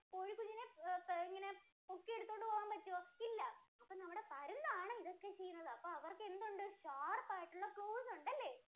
കോഴികുഞ്ഞിനെ ഇങ്ങനെ അഹ് പോക്കിയെടുതോണ്ട് പോകാന്‍ പറ്റുവോ? ഇല്ല. അപ്പോ നമ്മുടെ പരുന്താണ് ഇതൊക്കെ ചെയ്യുന്നത്. അപ്പോ അവര്‍ക്കെന്തുണ്ട്? sharp ആയിട്ടുള്ള claws ഉണ്ടല്ലേ?